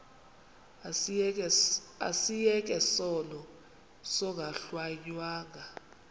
asiyeke sono smgohlwaywanga